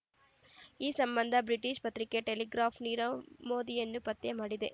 ಈ ಸಂಬಂಧ ಬ್ರಿಟಿಷ್ ಪತ್ರಿಕೆ ಟೆಲಿಗ್ರಾಫ್ ನೀರವ್ ಮೋದಿಯನ್ನು ಪತ್ತೆ ಮಾಡಿದೆ